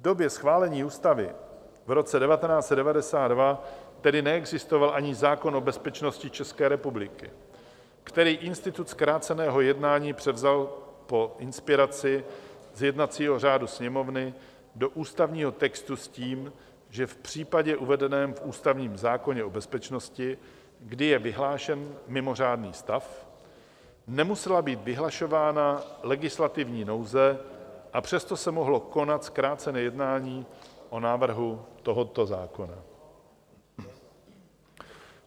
V době schválení ústavy v roce 1992 tedy neexistoval ani zákon o bezpečnosti České republiky, který institut zkráceného jednání převzal po inspiraci z jednacího řádu Sněmovny do ústavního textu s tím, že v případě uvedeném v ústavním zákoně o bezpečnosti, kdy je vyhlášen mimořádný stav, nemusela být vyhlašována legislativní nouze, a přesto se mohlo konat zkrácené jednání o návrhu tohoto zákona.